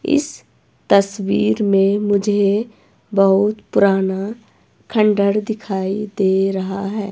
इस तस्वीर में मुझे बहुत पुराना खंडर दिखाई दे रहा हैं।